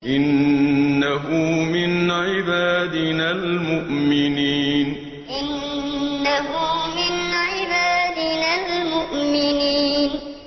إِنَّهُ مِنْ عِبَادِنَا الْمُؤْمِنِينَ إِنَّهُ مِنْ عِبَادِنَا الْمُؤْمِنِينَ